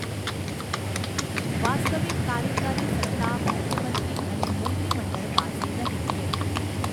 વાસ્તવિક કાર્યકારી સત્તા મુખ્યમંત્રી અને મંત્રીમંડળ પાસે રહે છે.